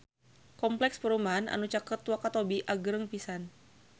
Kompleks perumahan anu caket Wakatobi agreng pisan